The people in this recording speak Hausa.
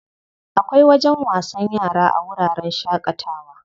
Akwai wajen wasan yara a wuraren shaƙatawa.